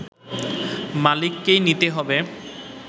মালিককেই নিতে হবে